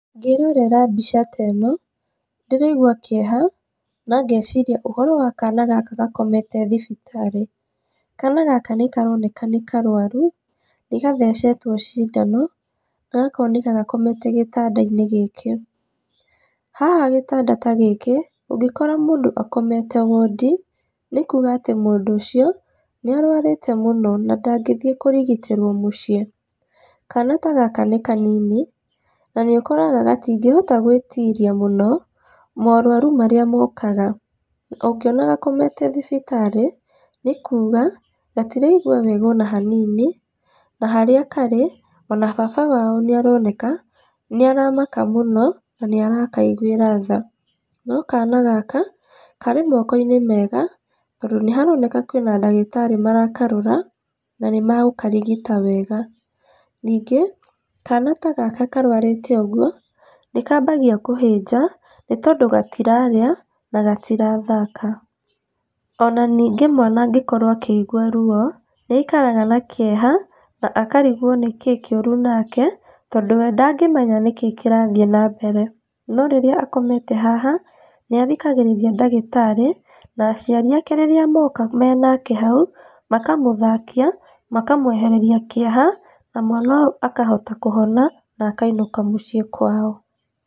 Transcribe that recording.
Ngĩrorera mbica ta ĩno, ndĩraigua kĩeha na ngeciria ũhoro wa kana gaka gakomete thibitarĩ. Kana gaka nĩ karoneka nĩ karwaru, nĩgathecetwo cindano gakoneka gakomete gĩtanda-inĩ gĩkĩ. Haha gĩtanda ta gĩkĩ, ũngĩkora mũndũ akomete wondi, nĩ kuuga atĩ mũndũ ũcio nĩ arwarĩte mũno na ndangĩthiĩ kurigitĩrwo mũciĩ. Kana ta gaka nĩ kanini na nĩ ũkoraga gatingĩhota gwitiria mũno morwaru marĩa mokaga. Ũngĩona gakomete thibitarĩ, nĩ kuuga gatiraigua wega ona hanini, na harĩa karĩ, ona baba wao nĩaroneka nĩ aramaka mũno na nĩ arakaiguĩra tha, no kana gaka karĩ moko-inĩ mega tondũ nĩharoneka kwĩna ndagĩtarĩ marakarora na nĩmagũkarigita wega. Ningĩ kana ta gaka karwarĩta ũguo, nĩ kambagia kũhĩnja nĩ tondũ gatirarĩa na gatirathaka, ona ningĩ mwana angĩkorwo nĩ araigua ruo, nĩ aikaraga na kĩeha na akarigwo nĩkĩĩ kĩũru nake tondũ we ndangĩmenya nĩkĩĩ kirathiĩ na mbere. No rĩrĩa akomete haha, nĩ athikagĩrĩria ndagĩtarĩ, na aciari ake rĩrĩa moka menake hau, makamũthakia, makamwehereria kĩeha na mwana ũyũ akahota kũhona na akainũka mũciĩ kwao.